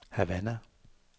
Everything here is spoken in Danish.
Havana